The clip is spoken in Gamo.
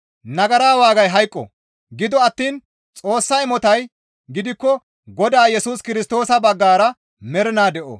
Nagara waagay hayqo; gido attiin Xoossa imotay gidikko Godaa Yesus Kirstoosa baggara mernaa de7o.